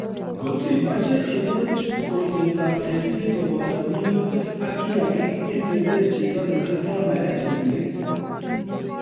Ngot imache iburuch kolsetab ketik koboto minutik ak kiagik itebe chito netindo naet missing